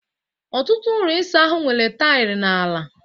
ọtụtụ ụlọ ịsa ahụ nwere taịlị n'ala